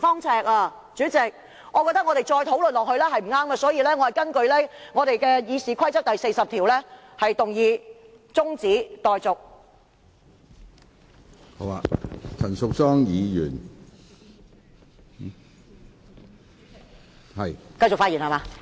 主席，我覺得再討論下去是不對的，所以，我根據《議事規則》第40條動議中止待續議案。